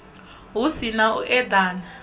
hu si na u eḓana